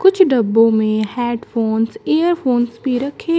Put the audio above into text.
कुछ डब्बों में हैडफोंस इयरफोंस भी रखें--